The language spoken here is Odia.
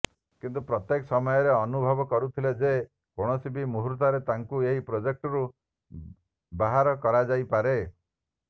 କିନ୍ତୁ ପ୍ରତ୍ୟେକ ସମୟରେ ଅନୁଭବ କରୁଥିଲେ ଯେ କୌଣସି ବି ମୁହୂର୍ତ୍ତରେ ତାଙ୍କୁ ଏହି ପ୍ରାେଜେକ୍ଟରୁ ବାହାର କରାଯାଇପାରେ